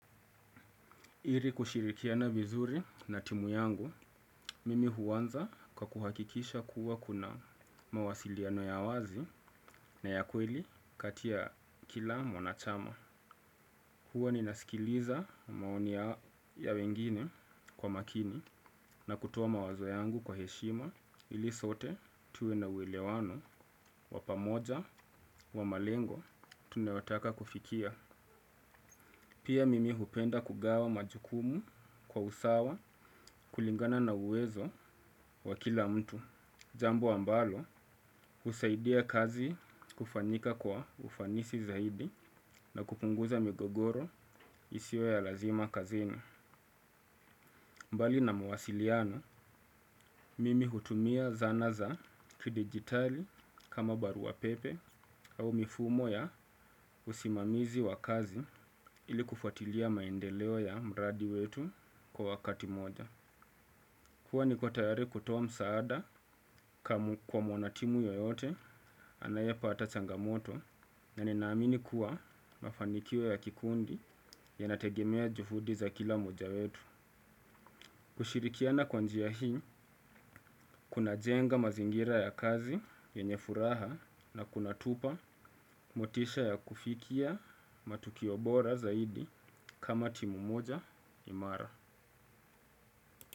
Iri kushirikiana vizuri na timu yangu, mimi huanza kwa kuhakikisha kuwa kuna mawasiliano ya wazi na ya kweli kati ya kila mwanachama. Huwa ninasikiliza maoni ya wengine kwa makini na kutoa mawazo yangu kwa heshima ili sote tuwe na uwelewano wa pamoja wa malengo tunayotaka kufikia. Pia mimi hupenda kugawa majukumu kwa usawa kulingana na uwezo wa kila mtu. Jambo ambalo husaidia kazi kufanyika kwa ufanisi zaidi na kupunguza migogoro isiyo ya lazima kazini. Mbali na mawasiliano, mimi hutumia zana za kidigitali kama barua pepe au mifumo ya usimamizi wa kazi ili kufwatilia maendeleo ya mradi wetu kwa wakati moja. Kuwa niko tayari kutoa msaada kwa mwanatimu yoyote anaye pata changamoto na ninaamini kuwa mafanikio ya kikundi ya nategemea juhudi za kila moja wetu. Kushirikiana kwa njia hii, kuna jenga mazingira ya kazi yenye furaha na kuna tupa motisha ya kufikia matukio bora zaidi kama timu moja imara.